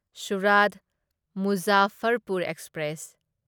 Surat Muzaffarpur express